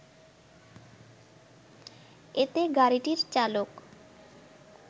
এতে গাড়িটির চালক